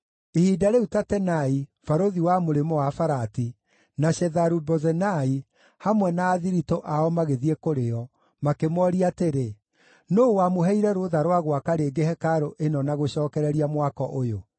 Ihinda rĩu Tatenai, barũthi wa Mũrĩmo-wa-Farati, na Shetharu-Bozenai, hamwe na athiritũ ao magĩthiĩ kũrĩ o, makĩmooria atĩrĩ, “Nũũ wamũheire rũtha rwa gwaka rĩngĩ hekarũ ĩno na gũcookereria mwako ũyũ?”